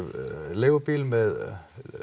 leigubíl með